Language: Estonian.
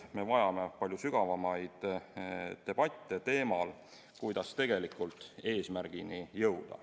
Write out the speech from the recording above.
Me vajame palju sügavamaid debatte teemal, kuidas tegelikult eesmärgini jõuda.